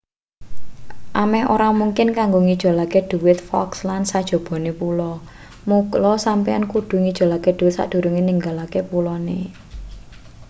ameh ora mungkin kanggo ngijolake dhuwit falklands sajobone pulo mula sampeyan kudu ngijolake dhuwit sakdurunge ninggalake pulone